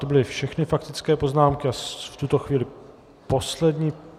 To byly všechny faktické poznámky a v tuto chvíli poslední.